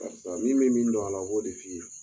min bɛ min don a la, o b'o de f'i ye.